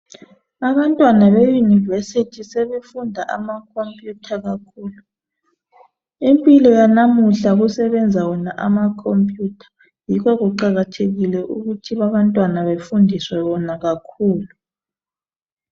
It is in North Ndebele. Abantwana beyunivesithi sebefunda amakhompuyutha kakhulu impilo yanamuhla kusebenza wona amakhompuyutha yikho kuqakathekile ukuthi abantwana befundiswe wona kakhulu.